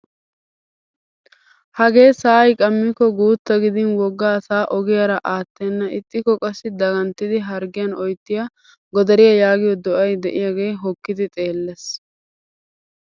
Hagee sa'ay qammiko guutta gidin wogga asaa ogiyara aattena ixikko qassi daganttidi harggiyaan oyttiyaa godariyaa yaagiyoo do"ay de'iyaagee hookkidi xeellees!